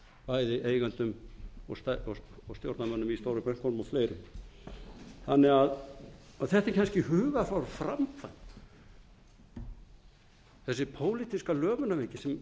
saksóknara í stórum stíl bæði eigendum og stjórnarmönnum í stóru bönkunum og fleirum þetta er kannski hugarfar á framkvæmd þessi pólitíska lömunarveiki